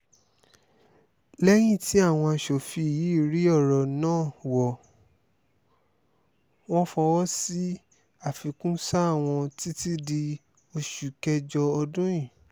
lẹ́yìn tí àwọn aṣòfin yiiri ọ̀rọ̀ náà wọ́ wọn fọwọ́ sí àfikún sáà wọn títí di oṣù kẹjọ ọdún yìí